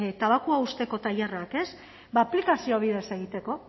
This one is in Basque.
tabakoa uzteko tailerrak aplikazio bidez egiteko